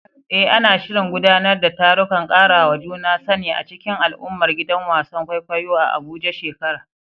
Eh, ana shirin gudanar da tarukan karawa juna sani a cikin al’ummar gidan wasan kwaikwayo a Abuja shekara